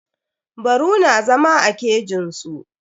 Baru na zama a kejin su.